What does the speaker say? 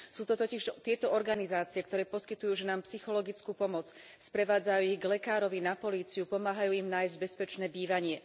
Sú to totiž tieto organizácie, ktoré poskytujú ženám psychologickú pomoc, sprevádzajú ich k lekárovi, na políciu, pomáhajú im nájsť bezpečné bývanie.